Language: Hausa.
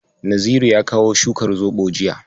Naziru ya kawo shukar zoɓo jiya.